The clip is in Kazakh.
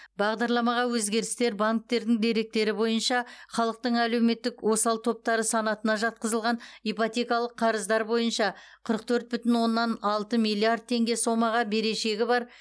бағдарламаға өзгерістер банктердің деректері бойынша халықтың әлеуметтік осал топтары санатына жатқызылған ипотекалық қарыздар бойынша қырық төрт бүтін оннан алты миллиард теңге сомаға берешегі бар